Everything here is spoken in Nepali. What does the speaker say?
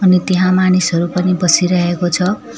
अनि त्यहाँ मानिसहरू पनि बसिरहेको छ।